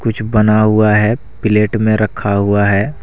कुछ बना हुआ है प्लेट में रखा हुआ है।